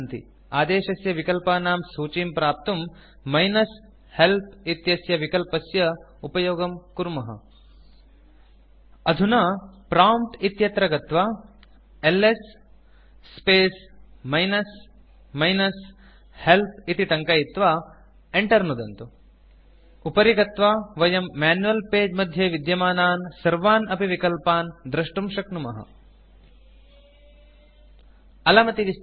आदेशस्य विकल्पानां सूचीं प्राप्तुं मिनस् हेल्प् इत्यस्य विकल्पस्य उपयोगं कुर्मः अधुना प्रॉम्प्ट् इत्यत्र गत्वा LS space minus minus help इति टङ्कयित्वा enter नुदन्तु उपरि गत्वा वयं मैन्युअल् पगे मध्ये विद्यमानान् सर्वान् अपि विकल्पान् द्रष्टुं शक्नुमः अलमतिविस्तरेण